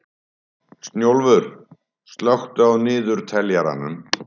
Snjólfur, slökktu á niðurteljaranum.